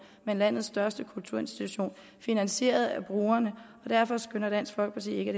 men landets største kulturinstitution finansieret af brugerne og derfor skønner dansk folkeparti ikke